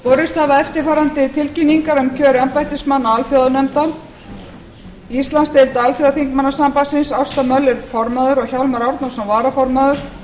borist hafa eftirfarandi tilkynningar um kjör embættismanna alþjóðanefnda íslandsdeild alþjóðaþingmannasambandsins ásta möller formaður og hjálmar árnason varaformaður